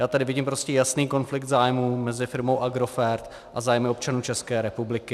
Já tady vidím prostě jasný konflikt zájmů mezi firmou Agrofert a zájmy občanů České republiky.